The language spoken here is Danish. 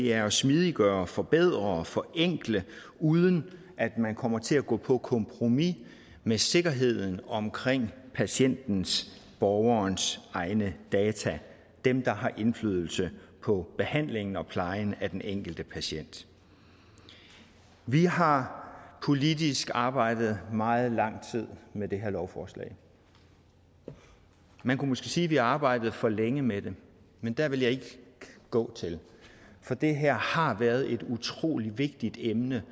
er at smidiggøre forbedre og forenkle uden at man kommer til at gå på kompromis med sikkerheden omkring patientens borgerens egne data dem der har indflydelse på behandlingen og plejen af den enkelte patient vi har politisk arbejdet meget lang tid med det her lovforslag man kunne måske sige at vi har arbejdet for længe med det men der vil jeg ikke gå til for det her har været et utrolig vigtigt emne